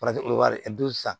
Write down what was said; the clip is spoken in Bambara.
san